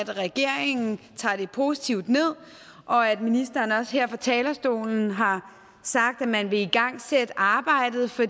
at regeringen tager det positivt ned og at ministeren også her på talerstolen har sagt at man vil igangsætte arbejdet for